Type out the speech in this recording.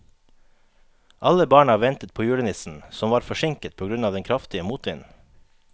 Alle barna ventet på julenissen, som var forsinket på grunn av den kraftige motvinden.